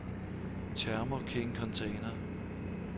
Thermo King Container